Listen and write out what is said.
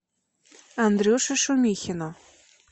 андрюше шумихину